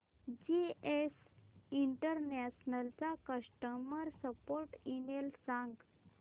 GS International चा customer support email सांग